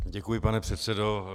Děkuji, pane předsedo.